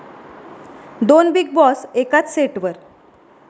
दोन 'Bigg Boss' एकाच सेटवर